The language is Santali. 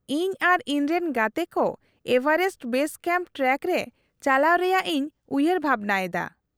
-ᱤᱧ ᱟᱨ ᱤᱧᱨᱮᱱ ᱜᱟᱛᱮ ᱠᱚ ᱮᱵᱷᱟᱨᱮᱥᱴ ᱵᱮᱥ ᱠᱮᱢᱯ ᱴᱨᱮᱠ ᱨᱮ ᱪᱟᱞᱟᱣ ᱨᱮᱭᱟᱜ ᱤᱧ ᱩᱭᱦᱟᱹᱨ ᱵᱷᱟᱵᱱᱟ ᱮᱫᱟ ᱾